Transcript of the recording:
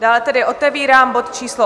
Dále tedy otevírám bod číslo